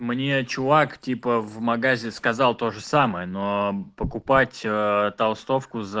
мне чувак типа в магазе сказал то же самое но покупать толстовку за